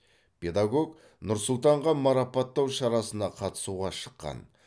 педагог нұр сұлтанға марапаттау шарасына қатысуға шыққан